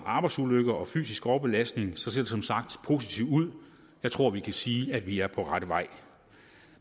arbejdsulykker og fysisk overbelastning ser det som sagt positivt ud jeg tror at vi kan sige at vi er på rette vej